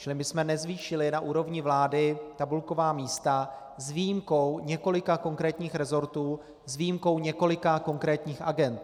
Čili my jsme nezvýšili na úrovni vlády tabulková místa s výjimkou několika konkrétních resortů, s výjimkou několika konkrétních agend.